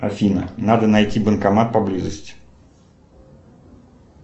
афина надо найти банкомат поблизости